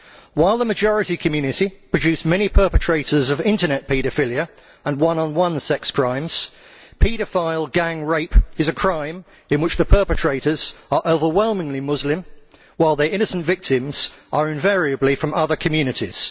While the majority community produces many perpetrators of internet paedophilia and one on one sex crimes, paedophile gang rape is a crime in which the perpetrators are overwhelmingly Muslim, while their innocent victims are invariably from other communities.